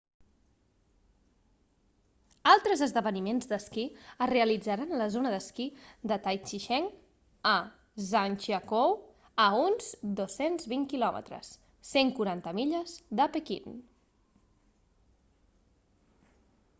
altres esdeveniments d'esquí es realitzaran a la zona d'esquí de taizicheng a zhangjiakou a uns 220 km 140 milles de pequín